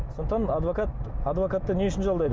сондықтан адвокат адвокатты не үшін жалдайды